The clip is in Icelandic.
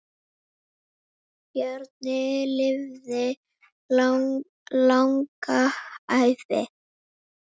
Bjarni lifði langa ævi.